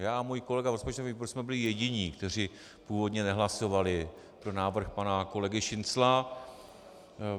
Já a můj kolega v rozpočtovém výboru jsme byli jediní, kteří původně nehlasovali pro návrh pana kolegy Šincla.